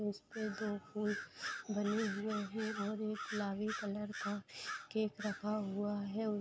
उसपे दो फूल बने हुए हैं और एक गुलाबी कलर का केक रखा हुआ है और --